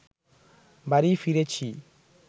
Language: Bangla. বাড়ি ফিরেছি